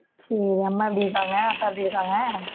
சரி, அம்மா எப்படி இருக்காங்க அப்பா எப்படி இருக்காங்க